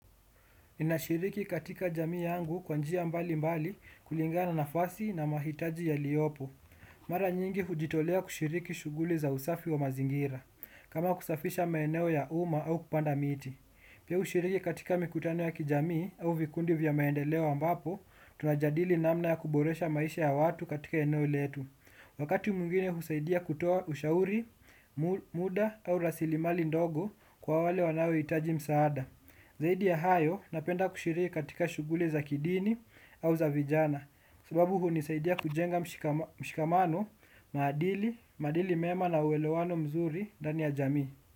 Ninashiriki katika jamii yangu kwa njia mbali mbali kulingana nafasi na mahitaji yaliyopo. Mara nyingi hujitolea kushiriki shughuli za usafi wa mazingira. Kama kusafisha maeneo ya umma au kupanda miti. Pia hushiriki katika mikutano ya kijamii au vikundi vya maendeleo ambapo, tunajadili namna ya kuboresha maisha ya watu katika eneo letu. Wakati mwingine husaidia kutoa ushauri, muda au rasilimali ndogo kwa wale wanaohitaji msaada. Zaidi ya hayo napenda kushiriki katika shughuli za kidini au za vijana sababu hunisaidia kujenga mshikamano, maadili, maadili mema na uelewano mzuri ndani ya jamii.